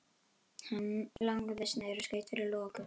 Hann lagðist niður og skaut fyrir loku.